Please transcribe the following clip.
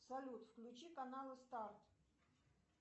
салют включи каналы старт